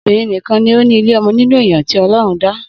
Obirin nìkan ni o ni ile ọmọ nínú èèyàn tí ọlọrun dá